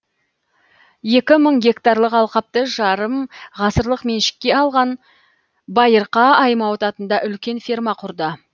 екі мың гектарлық алқапты жарым ғасырлық меншікке алған байырқа аймауыт атында үлкен ферма құрды